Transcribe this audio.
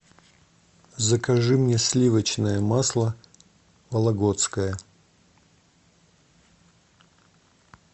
закажи мне сливочное масло вологодское